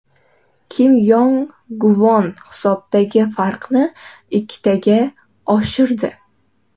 Kim Yong Gvon hisobdagi farqni ikkitaga oshirdi.